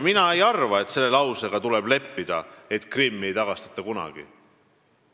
Mina ei arva, et selle lausega tuleb leppida, et Krimmi ei tagastata kunagi.